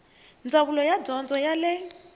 ndzawulo ya dyondzo ya le